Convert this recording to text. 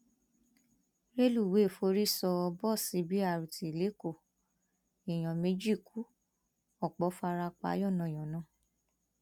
rẹlùwéè forí sọ bọọsì b rt lẹkọọ èèyàn méjì ku ọpọ fara pa yánnayànna